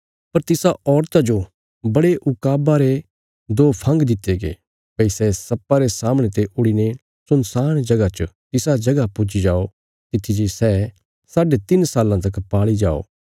पर तिसा औरता जो बड़े ऊकाबा रे दो फंग दित्ते गये भई सै सर्पा रे सामणे ते उडीने सुनसान जगह च तिसा जगह पुज्जी जाओ तित्थी जे सै साडे तिन्न साल्लां तक पाल़ी जाओ